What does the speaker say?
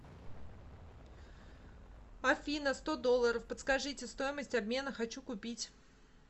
афина сто долларов подскажите стоимость обмена хочу купить